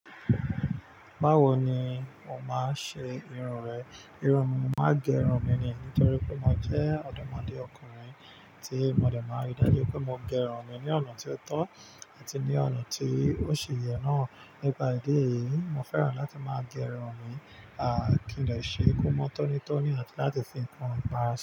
Bawo ni o máa ṣe irun rẹ? Irun mi, mo máa n gẹ irun mi ní, nítorí pé mo jẹ́ ọ̀dọ́mọdé ọkùnrin. Ti mo dẹ̀ máa rí i dájú pé mo gẹ irun mi ní ọ̀nà tí ó tọ́, àti ní ọ̀nà tí ó ṣi yẹ náà. Nípà ìdí èyí, mo fẹ́ràn láti máa gẹ irun mi, kí n dẹ ṣe ko mọ́ tónítoní àti láti fi kan ìpara sí.